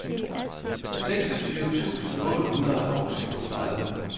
seksogtyve tusind otte hundrede og syvogtredive